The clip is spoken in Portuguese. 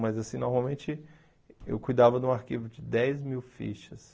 Mas, assim, normalmente eu cuidava de um arquivo de dez mil fichas.